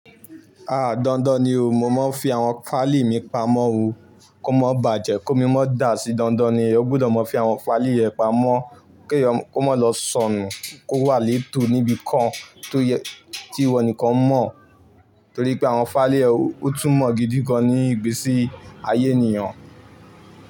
A dandan ni o, mo máa ń fi àwọn fáìlì mi pamọ́ o kó má bàjẹ́, kí ómi ma dá sí. Dandan ni o gbudọ̀ máa fi àwọn fáìlì rẹ pamọ́ kí ó má lọ sọnù, kó wà létò níbi kan tí ìwọ nìkan mọ̀. Torí pé àwọn fáìlì yen, ó tún mọ̀ gidi gan ní ìgbésí ayé ènìyàn.